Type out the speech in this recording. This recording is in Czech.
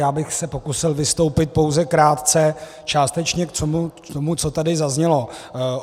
Já bych se pokusil vystoupit pouze krátce částečně k tomu, co tady zaznělo.